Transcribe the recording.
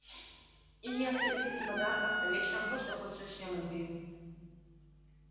и ни открыток ни подарков а вечером просто хоть совсем умри